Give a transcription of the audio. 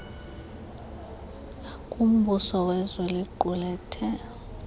kumbuso wezwe liqulethe